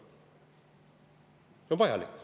See on vajalik.